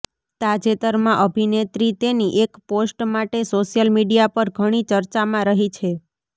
તાજેતરમાં અભિનેત્રી તેની એક પોસ્ટ માટે સોશિયલ મીડિયા પર ઘણી ચર્ચામાં રહી છે